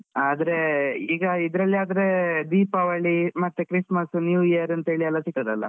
ಆದ್ರೆ ಈಗ ಇದ್ರಲ್ಲಿ ಆದ್ರೆ ದೀಪಾವಳಿ ಮತ್ತೆ Christmas, New year ಅಂತೇಳಿ ಇರ್ತದಲ್ಲ.